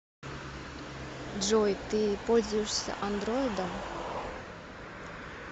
джой ты пользуешься андроидом